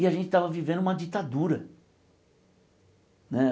E a gente estava vivendo uma ditadura né.